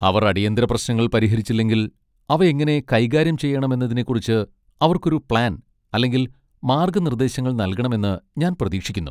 അവർ അടിയന്തിര പ്രശ്നങ്ങൾ പരിഹരിച്ചില്ലെങ്കിൽ, അവ എങ്ങനെ കൈകാര്യം ചെയ്യണമെന്നതിനെക്കുറിച്ച് അവർക്ക് ഒരു പ്ലാൻ അല്ലെങ്കിൽ മാർഗ്ഗനിർദ്ദേശങ്ങൾ നൽകണമെന്ന് ഞാൻ പ്രതീക്ഷിക്കുന്നു.